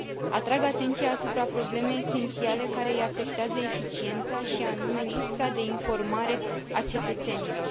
Atrag atenția asupra problemei esențiale care îi afectează eficiența, și anume lipsa de informare a cetățenilor.